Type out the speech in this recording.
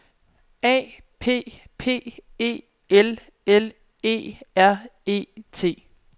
A P P E L L E R E T